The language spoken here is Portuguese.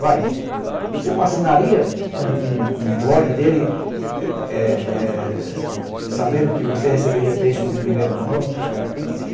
Vai você não assinaria um blog dele é, é, é sabendo que você receberia textos em primeira mão?